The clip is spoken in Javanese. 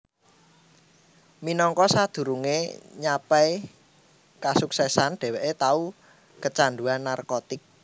Minangka sadurungé nyapai kasuksesan dheweké tau keecanduan narkotik